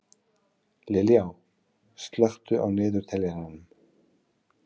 Liljá, slökktu á niðurteljaranum.